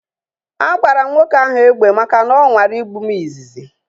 A gbara m nwoke ahu egbe maka na ọ nwara igbu m izizi